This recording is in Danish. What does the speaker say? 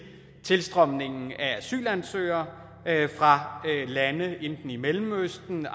tilstrømningen af asylansøgere fra lande i enten mellemøsten